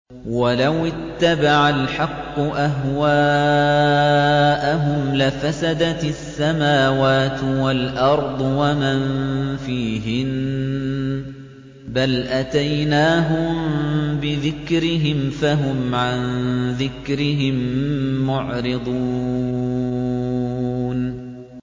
وَلَوِ اتَّبَعَ الْحَقُّ أَهْوَاءَهُمْ لَفَسَدَتِ السَّمَاوَاتُ وَالْأَرْضُ وَمَن فِيهِنَّ ۚ بَلْ أَتَيْنَاهُم بِذِكْرِهِمْ فَهُمْ عَن ذِكْرِهِم مُّعْرِضُونَ